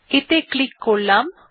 এতে ক্লিক করলাম